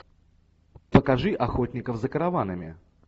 покажи охотников за караванами